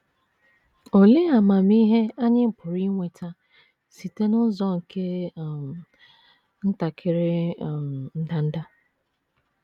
Olee amamihe anyị pụrụ inweta site n’ụzọ nke um ntakịrị um ndanda?